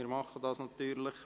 Das machen wir natürlich.